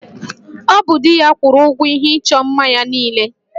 Ọ bụ di ya kwụrụ ụgwọ ihe ịchọ mma ya niile